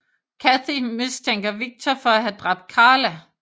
Cathy mistænker Victor for at have dræbt Carla